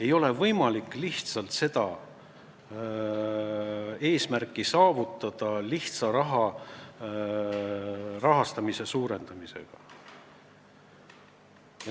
Ei ole võimalik seda eesmärki saavutada lihtsalt rahastamise suurendamisega.